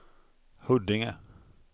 Huddinge